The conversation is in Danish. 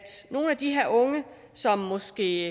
nogle af de her unge som måske